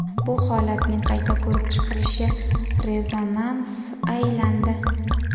Bu holatning qayta ko‘rib chiqilishi rezonansga aylandi.